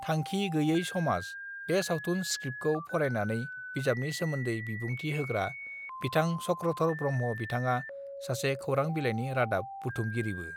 थांखि गैयाय समाज बे सावथुन स्क्रिप्तखौ फरायनानै बिजाबनि सोमोन्दै बिबुंथि होग्रा बिथां चक्रधर ब्रह्म बिथाङा सासे खौरां बिलायनि रादाब बुदुमगिरिबो